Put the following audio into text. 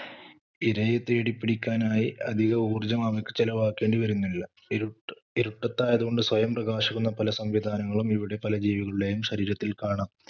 ഇരയെ തേടിപ്പിടിക്കാനായി അധികഊർജ്ജം അവക്ക് ചെലവാക്കേണ്ടിവരുന്നില്ല. ഇരുട്ട~ഇരുട്ടത്തായതുകൊണ്ട് സ്വയം പ്രകാശിക്കുന്ന പല സംവിധാനങ്ങളും ഇവിടെ പല ജീവികളുടേയും ശരീരത്തിൽ കാണാം.